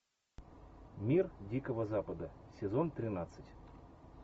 мир дикого запада сезон тринадцать